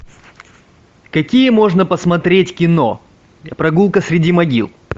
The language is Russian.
какие можно посмотреть кино прогулка среди могил